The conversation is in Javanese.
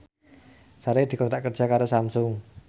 Sari dikontrak kerja karo Samsung